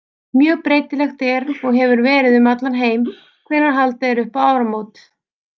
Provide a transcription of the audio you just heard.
Mjög breytilegt er og hefur verið um heim allan hvenær haldið er upp á áramót.